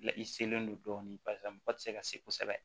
La i selen don dɔɔnin barisa mɔgɔ tɛ se ka se kosɛbɛ